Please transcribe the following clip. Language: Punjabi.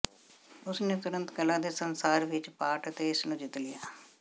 ਉਸ ਨੇ ਤੁਰੰਤ ਕਲਾ ਦੇ ਸੰਸਾਰ ਵਿੱਚ ਪਾਟ ਅਤੇ ਇਸ ਨੂੰ ਜਿੱਤ ਲਿਆ